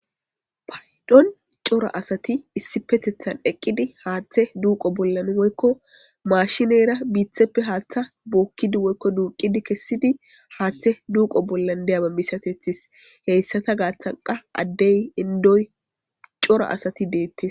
Paydon cora asati issi petethan eqqidi haaththe duuqo bollan woykko maashineyra biitheppe haaththa bookkidi woykko duuqidi kessidi haaththe duuqo bollan deyaba misatetis heyssata gaaththanqa addey indoy cora asati deettes.